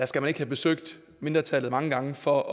skal ikke have besøgt mindretallet mange gange for